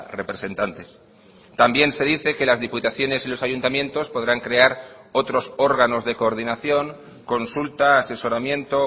representantes también se dice que las diputaciones y los ayuntamientos podrán crear otros órganos de coordinación consulta asesoramiento